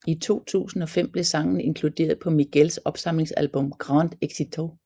I 2005 blev sangen inkluderet på Miguels opsamlingsalbum Grandes Éxitos